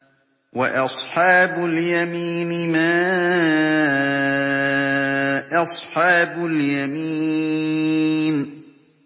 وَأَصْحَابُ الْيَمِينِ مَا أَصْحَابُ الْيَمِينِ